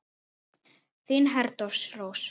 Þín Herdís Rós.